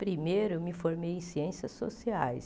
Primeiro, eu me formei em Ciências Sociais.